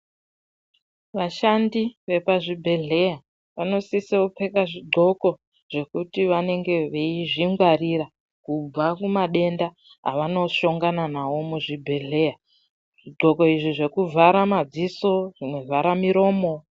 Vashandi vepazvibhedhleya vanosise kupfeka zvidhloko zvekuti vanenge veizvingwarira kubva kumadenda avanoshangana navo muzvibhedhleya. Zvidhloko izvi zvekuvhara madziso zvekuvhara miromo.